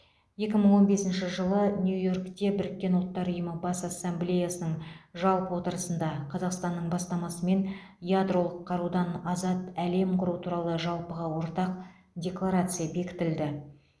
екі мың он бесінші жылы нью йоркте біріккен ұлттар ұйымы бас ассамблеясының жалпы отырысында қазақстанның бастамасымен ядролық қарудан азат әлем құру туралы жалпыға ортақ декларация бекітілді